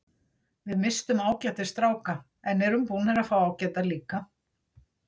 Við misstum ágætis stráka en erum búnir að fá ágæta líka.